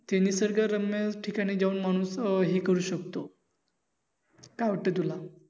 ते निसर्ग रम्य ठिकाणी जाऊनम्हणू हे करू शकतो. काय वाटत तुला?